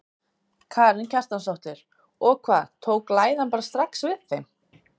Karen Kjartansdóttir: Og hvað, tók læðan bara strax við þeim?